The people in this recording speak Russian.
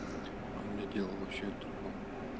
у меня дело вообще о другом